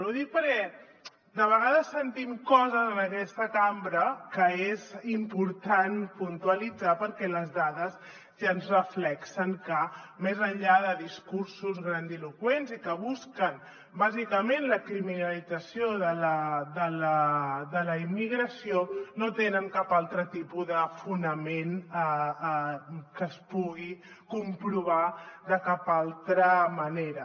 ho dic perquè de vegades sentim coses en aquesta cambra que és important puntualitzar perquè les dades ja ens reflecteixen que més enllà de discursos grandiloqüents i que busquen bàsicament la criminalització de la immigració no tenen cap altre tipus de fonament que es pugui comprovar de cap altra manera